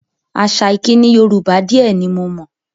Àṣà ìkíni Yorùbá di ẹ ní mo mọ̀